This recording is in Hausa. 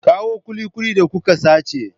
Kawo kulikuli da kuka sace.